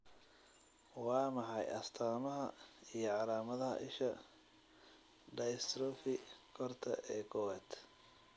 Waa maxay astamaha iyo calamadaha isha dystrophy koorta ee kowaad?